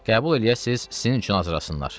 Qəbul eləyəsiz, sizin üçün hazırlasınlar.